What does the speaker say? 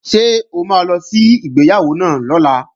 Ṣé o máa lọ sí ìgbéyàwó náà lọ́la?